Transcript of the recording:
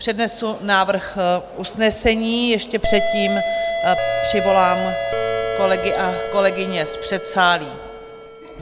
Přednesu návrh usnesení, ještě předtím přivolám kolegy a kolegyně z předsálí.